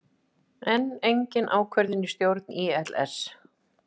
Enn engin ákvörðun í stjórn ÍLS